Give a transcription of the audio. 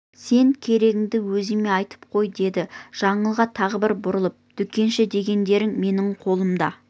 сен керегіңді өзіме айтып қой деді жаңылға тағы бір бұрылып дүкенші дегендерің менің қолымда